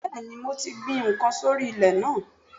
Bẹ́ẹ̀ni mo ti gbin n kan sórí ilè náà